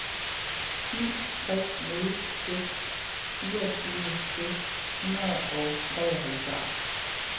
ni tre nul seks fireogtyve seks hundrede og treoghalvfjerds